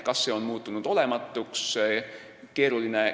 Kas see on muutunud olematuks?